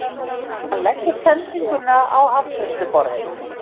Hann leggur sendinguna á afgreiðsluborðið.